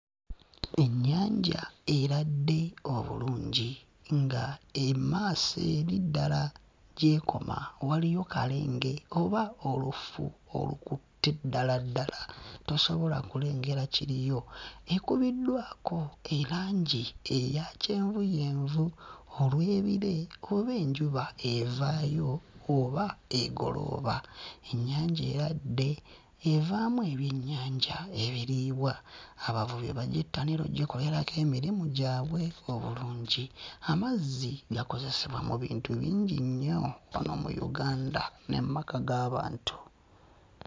Ennyanja eradde obulungi nga emmaaso eri ddala gy'ekoma waliyo kalenge oba olufu olukutte ddala ddala; tosobola kulengera kiriyo. Ekubiddwako erangi eya kyenvuyenvu olw'ebire oba enjuba evaayo oba egolooba. Ennyanja eradde evaamu ebyennyanja ebiriibwa, abavubi bagyettanira okugikolerako emirimu gyabwe obulungi, amazzi gakozesebwa mu bintu bingi nnyo wano mu Uganda ne mu maka g'abantu.